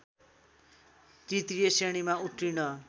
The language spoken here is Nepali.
तृतीय श्रेणीमा उत्तीर्ण